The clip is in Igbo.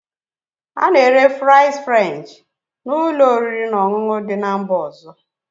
A na-ere fries French na ụlọ oriri na ọṅụṅụ dị na mba ọzọ